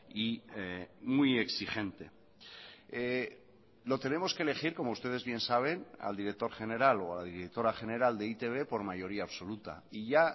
y muy exigente lo tenemos que elegir como ustedes bien saben al director general o a la directora general de e i te be por mayoría absoluta y ya